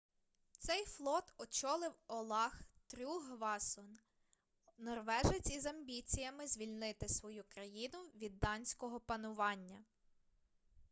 цей флот очолив олаф трюггвасон норвежець із амбіціями звільнити свою країну від данського панування